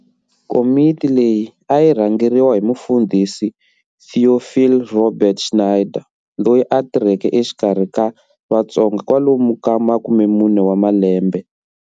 Komiti leyi a yi rhangeriwa hi Mufundhisi Théophile Robert Schneider loyi a tirheke exikarhi ka vatsonga kwalomu ka 40 wa malembe.